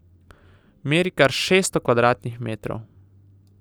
Meri kar šeststo kvadratnih metrov.